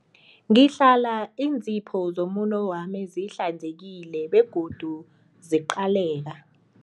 Ngihlala iinzipho zomuno wami zihlanzekile begodu ziqaleka.